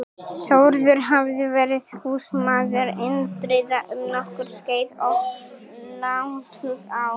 Þórður hafði verið húsmaður Indriða um nokkurt skeið og lagt hug á